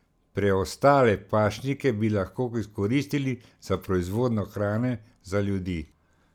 Preostale pašnike bi lahko izkoristili za proizvodnjo hrane za ljudi.